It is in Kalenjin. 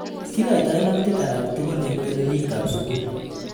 Kikoitoi nautik alak tugul eng telelik ab sukul.